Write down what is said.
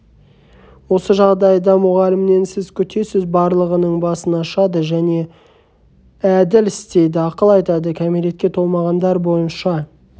осы жағдайда мұғалімнен сіз күтесіз барлығының басын ашады және әділ істейді ақыл айтады кәмілекетке толмағандар бойынша